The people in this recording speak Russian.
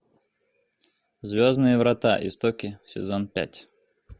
звездные врата истоки сезон пять